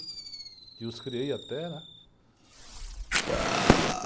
Que os criei até, né?